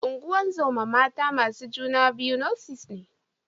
Ungozoma mata masu juna biyu Nurse ne